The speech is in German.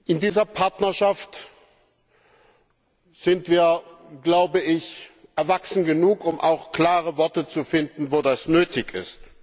In dieser Partnerschaft sind wir erwachsen genug, um auch klare Worte zu finden, wo das nötig ist.